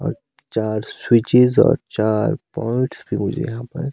और चार स्विचीज और चार बोर्ड्स मुझे यहां पर।